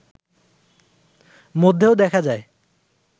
মধ্যেও দেখা যায়